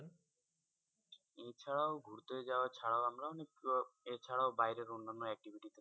এছাড়াও ঘুরতে যাওয়া ছাড়াও আমরা অনেক এছাড়াও বাইরের অন্যান্য activity